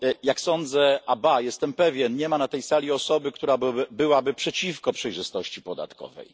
Jak sądzę, ba, jestem pewien, nie ma na tej sali osoby, która byłaby przeciwko przejrzystości podatkowej.